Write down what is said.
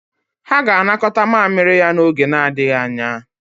Ha ga-anakọta mamịrị ya n'oge adịghị anya.